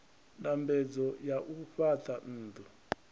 ndambedzo ya u fhaṱa nnḓu